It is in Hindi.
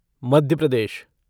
मध्य प्रदेश